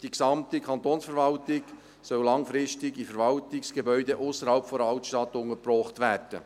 Die ganze Kantonsverwaltung soll langfristig in Verwaltungsgebäuden ausserhalb der Altstadt untergebracht werden.